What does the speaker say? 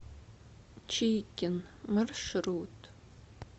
чикен маршрут